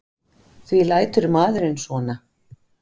Því lætur maðurinn svona?